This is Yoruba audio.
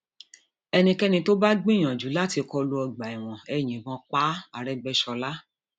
ẹnikẹni tó bá gbìyànjú láti kọ lu ọgbà ẹwọn ẹ yìnbọn pa áarégbèṣọla